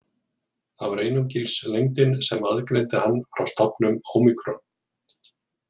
Það var einungis lengdin sem aðgreindi hann frá stafnum ómikron.